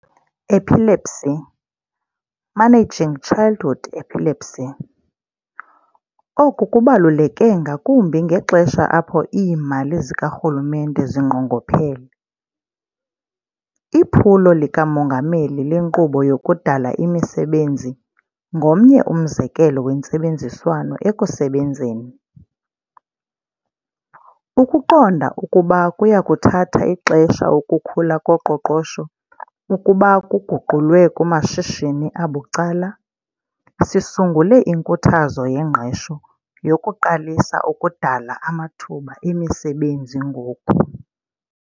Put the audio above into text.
Epilepsy, Managing Childhood Epilepsy. Oku kubaluleke ngakumbi ngexesha apho iimali zikarhulumente zinqongophele. IPhulo likaMongameli leNkqubo yokuDala iMisebenzi ngomnye umzekelo wentsebenziswano ekusebenzeni. Ukuqonda ukuba kuya kuthatha ixesha ukukhula koqoqosho ukuba kuguqulwe kumashishini abucala, sisungule inkuthazo yengqesho yokuqalisa ukudala amathuba emisebenzi ngoku.